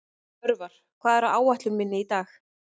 Örvar, hvað er á áætluninni minni í dag?